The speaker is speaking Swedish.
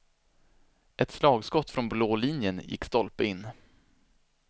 Ett slagskott från blå linjen gick stolpe in.